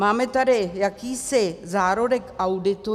Máme tady jakýsi zárodek auditu.